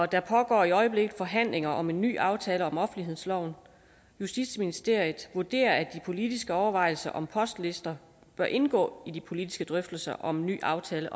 der pågår i øjeblikket forhandlinger om en ny aftale om offentlighedsloven og justitsministeriet vurderer at de politiske overvejelser om postlister bør indgå i de politiske drøftelser om en ny aftale